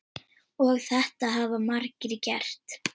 Og þetta hafa margir gert.